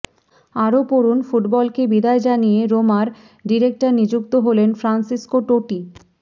আরও পড়ুন ফুটবলকে বিদায় জানিয়ে রোমার ডিরেক্টর নিযুক্ত হলেন ফ্রান্সিসকো টোটি